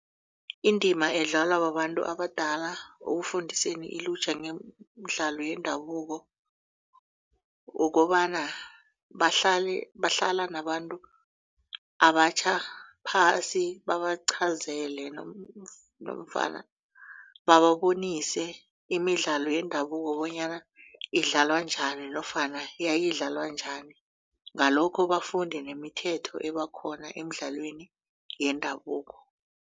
Indima edlalwa babantu abadala ekufundiseni ilutjha ngemidlalo yendabuko kukobana bahlala nabantu abatjha phasi babaqhazele nofana bababonise imidlalo yendabuko bonyana idlalwa njani nofana yayidlalwa njani ngalokho bafunde nemithetho ebakhona emidlalweni yendabuko.